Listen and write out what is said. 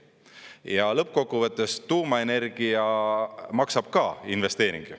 Ja lõppkokkuvõttes tuumaenergia maksab ka, investeering.